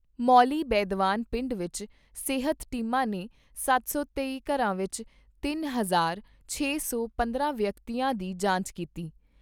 ਮੌਲੀ ਬੈਦਵਾਨ ਪਿੰਡ ਵਿਚ ਸਿਹਤ ਟੀਮਾਂ ਨੇ ਸੱਤ ਸੌ ਤੇਈ ਘਰਾਂ ਵਿਚ ਤਿੰਨ ਹਜ਼ਾਰ ਛੇ ਸੌ ਪੰਦਰਾਂ ਵਿਅਕਤੀਆਂ ਦੀ ਜਾਂਚ ਕੀਤੀ।